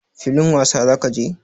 Filin wasa za ka je?